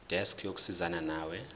desk yokusizana nawe